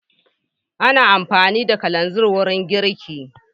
Ana amfani da kalanzir wurin girki.